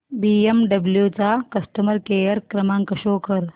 BMW चा customer care क्रमांक show कर